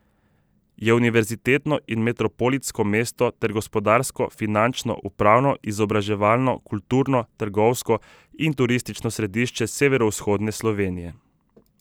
Je univerzitetno in metropolitsko mesto ter gospodarsko, finančno, upravno, izobraževalno, kulturno, trgovsko in turistično središče severovzhodne Slovenije.